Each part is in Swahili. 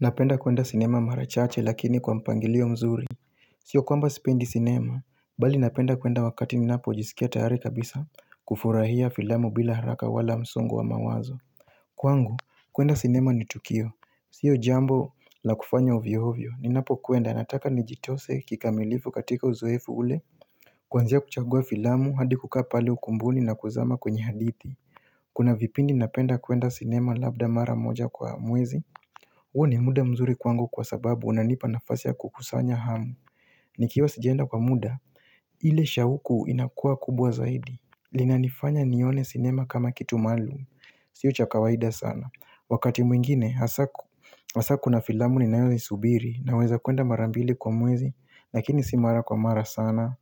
Napenda kwenda sinema mara chache lakini kwa mpangilio mzuri Sio kwamba sipendi sinema Bali napenda kwenda wakati ninapo jisikia tayari kabisa kufurahia filamu bila haraka wala msongo wa mawazo Kwangu, kwenda sinema ni tukio Sio jambo la kufanya ovyo ovyo Ninapo kwenda nataka nijitose kikamilifu katika uzoefu ule Kuanzia kuchagua filamu hadi kukaa pale ukumbuni na kuzama kwenye hadithi Kuna vipindi napenda kwenda sinema labda mara moja kwa mwezi huo ni muda mzuri kwangu kwa sababu unanipa nafasi ya kukusanya hamu Nikiwa sijaenda kwa muda, ile shauku inakua kubwa zaidi linanifanya nione sinema kama kitu maalum, sio cha kawaida sana Wakati mwingine, hasa kuna filamu ninayo isubiri naweza kuenda mara mbili kwa mwezi lakini si mara kwa mara sana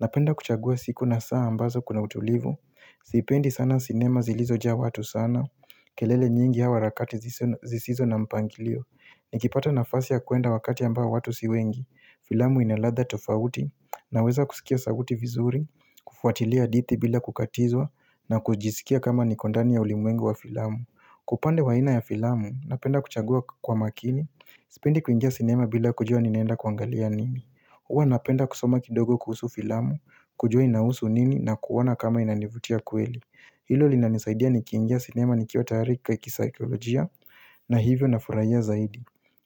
Napenda kuchagua siku na saa ambazo kuna utulivu Sipendi sana sinema zilizojaa watu sana kelele nyingi au harakati zisizo na mpangilio Nikipata nafasi ya kuenda wakati ambao watu si wengi Filamu ina ladha tofauti Naweza kusikia sauti vizuri kufuatilia hadithi bila kukatizwa na kujisikia kama niko ndani ya ulimwengu wa filamu Kwa upande wa ina ya filamu Napenda kuchagua kwa makini Sipendi kuingia sinema bila kujua ninaenda kuangalia nini huwa napenda kusoma kidogo kuhusu filamu kujua inahusu nini na kuona kama inanivutia kweli Hilo linanisaidia nikiingia sinema nikiwa tayari kisaikolojia na hivyo na furahia zaidi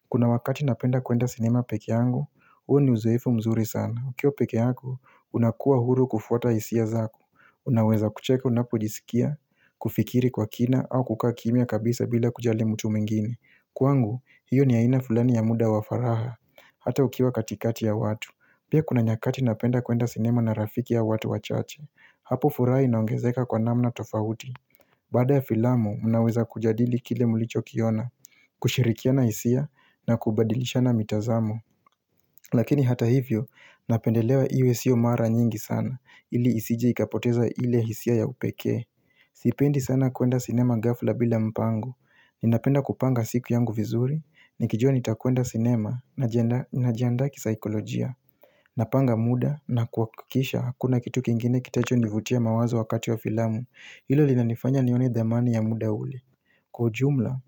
Kuna wakati napenda kwenda sinema peke yangu, huo ni uzoefu mzuri sana ukiwa pekee yako, unakuwa huru kufuata hisia zako Unaweza kucheka unapojisikia, kufikiri kwa kina au kukaa kimya kabisa bila kujali mtu mwingine Kwangu, hiyo ni aina fulani ya muda wa faragha, hata ukiwa katikati ya watu Pia kuna nyakati napenda kwenda sinema na rafiki ya watu wachache Hapo furaha inaongezeka kwa namna tofauti Baada ya filamu, mnaweza kujadili kile mlichokiona kushirikiana hisia na kubadilishana mitazamo Lakini hata hivyo, napendelea iwe isio mara nyingi sana ili isije ikapoteza ile hisia ya upekee Sipendi sana kuenda cinema ghafla bila mpango Ninapenda kupanga siku yangu vizuri Nikijua nitakwenda cinema najiandaa kisaikolojia Napanga muda na kuhakikisha hakuna kitu kingine kitacho nivutia mawazo wakati wa filamu Hilo linanifanya nione thamani ya muda ule Kwa ujumla,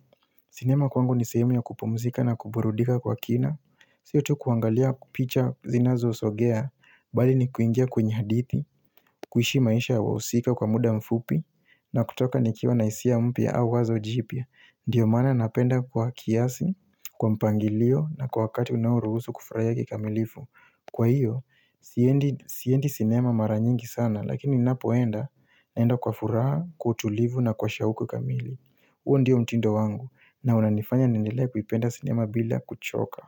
sinema kwangu ni sehemu ya kupumzika na kuburudika kwa kina siyo tu kuangalia picha zinazo sogea Bali ni kuingia kwenye hadithi kuishi maisha ya wahusika kwa muda mfupi na kutoka nikiwa na hisia mpya au wazo jipya Ndiyo maana napenda kwa kiasi, kwa mpangilio na kwa wakati unaoruhusu kufurahia kikamilifu Kwa hiyo, siendi sinema mara nyingi sana, lakini ninapoenda, naenda kwa furaha, kwa utulivu na kwa shauku kamili. Huo ndio mtindo wangu, na unanifanya niendelee kuipenda sinema bila kuchoka.